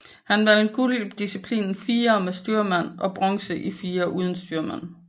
Han vandt guld i disciplinen firer med styrmand og bronze i firer uden styrmand